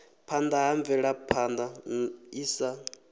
phana ha mvelaphana i sa